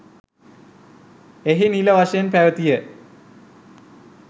එහි නිල වශයෙන් පැවතිය